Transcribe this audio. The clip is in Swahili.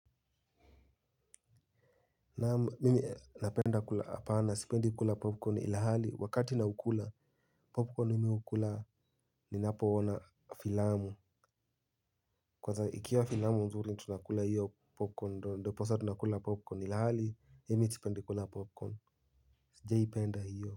Naam mimi napenda kula apana sipendi kula popcorn ilhali wakati naukula popcorn nimeukula ni napo ona filamu. Kwanza ikiwa filamu nzuri tunakula hiyo popcorn ndiposa tunakula popcorn ilhali mimi sipendi kula popcorn sijaipenda hiyo.